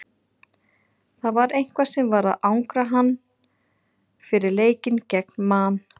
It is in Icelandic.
Það var eitthvað sem var að angra hann fyrir leikinn gegn Man.